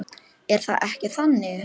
Er það ekki þannig?